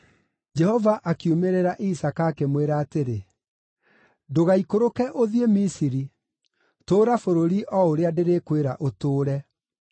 Jehova akiumĩrĩra Isaaka, akĩmwĩra atĩrĩ, “Ndũgaikũrũke ũthiĩ Misiri; tũũra bũrũri o ũrĩa ndĩrĩkwĩra ũtũũre.